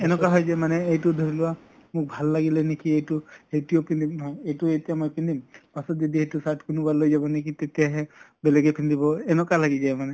এনকা হয় যে মানে এইটো ধৰি লোৱা মোক ভাল লাগিলে নেকি এইটো এইটোয়ে পিন্ধিম ম এইটো এতিয়া মই পিন্ধিম পাছত যদি এইটো shirt কোনোবাই লৈ যা নেকি তেতিয়াহে বেলেগে পিন্ধিব। এনিকা লাগি যায় মানে।